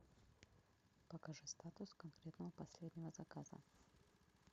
покажи статус конкретного последнего заказа